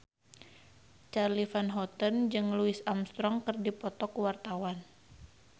Charly Van Houten jeung Louis Armstrong keur dipoto ku wartawan